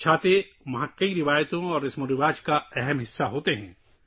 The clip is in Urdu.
چھتریاں وہاں کی بہت سی روایات اور رسومات کا ایک اہم حصہ ہیں